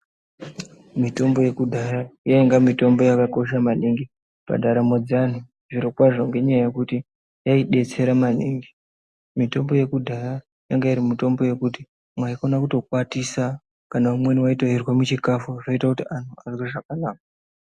Mitombo yekudhaya yainge mitombo yakakosha maningi pandaramo dzeantu zvirokwazvo, ngendaa yekuti yaidetsera maningi. Mitombo yekudhaya yanga iri mitombo yekuti maikona kutokwatisa kana imweni waitoirye muchikafu zvoite kuti antu azwe zvakanaka.